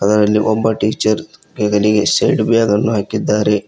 ಅದರಲ್ಲಿ ಒಬ್ಬ ಟೀಚರ್ ಹೆಗಲಿಗೆ ಸೈಡ್ ಬ್ಯಾಗ್ ಅನ್ನು ಹಾಕಿದ್ದಾರೆ.